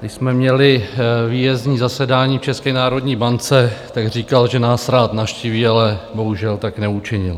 Když jsme měli výjezdní zasedání v České národní bance, tak říkal, že nás rád navštíví, ale bohužel tak neučinil.